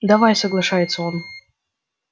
давай соглашается он